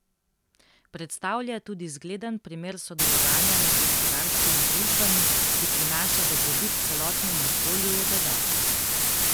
Predstavlja tudi zgleden primer sodelovanja med gospodarskimi družbami, ki prinaša dobrobit celotnemu okolju, je dodal.